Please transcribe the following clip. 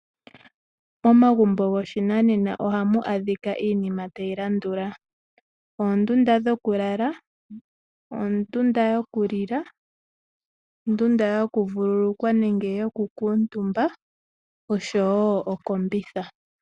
Momagumbo goshinanena ohamu adhika iinima tayi landula: oondunda dhoku lala, ondunda yokulila, ondunda yoku vululukwa nenge yoku kuutumba oshowo okombitha.